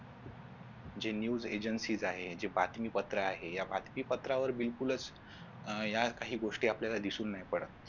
जे news agency आहेत जे बातमी पात्र आहे या बातमी पत्रावर बिलकुलच या काही गोष्टी आपल्याला दिसू नाही पडत